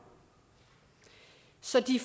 så de